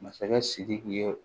Masakɛ sidiki ye